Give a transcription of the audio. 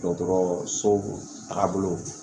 Dɔgɔtɔrɔ so tagabolo